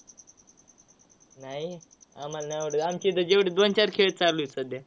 नाही, आम्हाला नाय आवडत. आमची इथं जेवढं दोन-चार खेळ चालू आहेत सध्या.